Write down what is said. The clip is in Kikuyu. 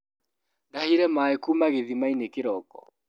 Ndahire maĩ kuma gathimainĩ kĩroko.